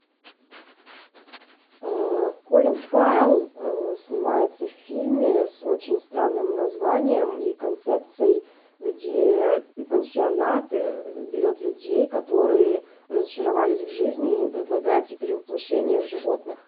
колин фаррелл снимается в фильме с очень странным названием и концепцией где пансионат берет людей которые разочаровались в жизни и им предлагается перевоплощение в животных